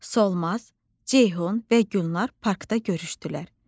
Solmaz, Ceyhun və Gülnar parkda görüşdülər.